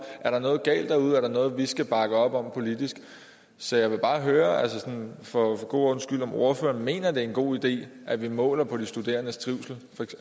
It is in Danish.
der er noget galt derude om der er noget vi skal bakke op om politisk så jeg vil bare høre for god ordens skyld om ordføreren mener at det en god idé at vi måler på de studerendes trivsel